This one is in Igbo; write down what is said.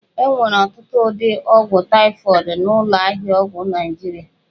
E nwere ọtụtụ ụdị ọgwụ taịfọdụ n'ụlọ ahịa ọgwụ Naịjirịa